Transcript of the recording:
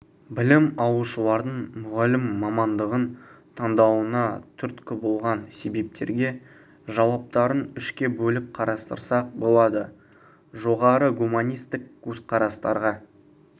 білім алушылардың мұғалім мамандығын таңдауына түрткі болған себептерге жауаптарын үшке бөліп қарастырсақ болады жоғары гуманистік көзқарастарға